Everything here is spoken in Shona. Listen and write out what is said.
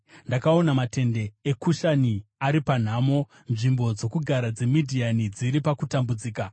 Ndakaona matende eKushani ari panhamo, nzvimbo dzokugara dzeMidhiani dziri pakutambudzika.